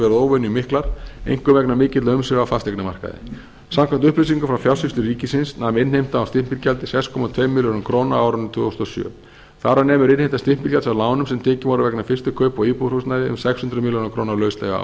verið óvenju miklar einkum vegna mikilla umsvifa á fasteignamarkaði samkvæmt upplýsingum frá fjársýslu ríkisins nam innheimta á stimpilgjaldi sex komma tveimur milljörðum króna á árinu tvö þúsund og sjö þar af nemur innheimta stimpilgjalds af lánum sem tekin voru vegna fyrstu kaupa á íbúðarhúsnæði um sex hundruð milljóna króna lauslega